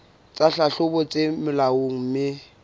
tsa tlhahlobo tse molaong mme